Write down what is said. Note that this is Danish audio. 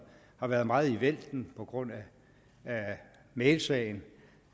har været meget i vælten på grund af mailsagen